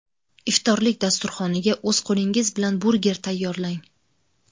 Iftorlik dasturxoniga o‘z qo‘lingiz bilan burger tayyorlang.